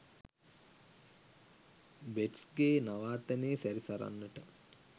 බේට්ස්’ගෙ නවාතැනේ සැරිසරන්නට!